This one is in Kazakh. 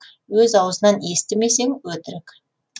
өз аузынан естісмесең өтірік